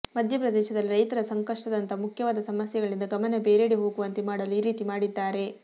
ಮಧ್ಯಪ್ರದೇಶದಲ್ಲಿ ರೈತರ ಸಂಕಷ್ಟದಂತಹ ಮುಖ್ಯವಾದ ಸಮಸ್ಯೆಗಳಿಂದ ಗಮನ ಬೇರೆಡೆ ಹೋಗುವಂತೆ ಮಾಡಲು ಈ ರೀತಿ ಮಾಡಿದ್ದಾರೆ